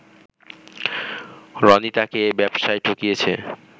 রনি তাকে ব্যবসায় ঠকিয়েছে